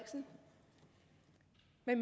vil